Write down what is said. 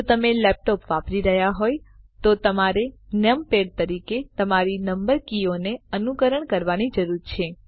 જો તમે લેપટોપ વાપરી રહ્યા હોય તો તમારે નમપૅડ તરીકે તમારી નંબર કીઓને અનુકરણ કરવાની જરૂર છે